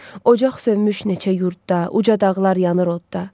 Ocaq sönmüş neçə yurdda, uca dağlar yanır odda.